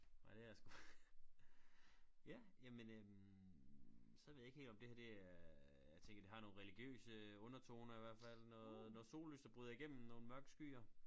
Ej det er sgu ja jamen øh så ved jeg ikke helt om det her det er jeg tænker det har nogle religiøse undertoner i hvert fald noget noget sollys der bryder igennem nogle mørke skyer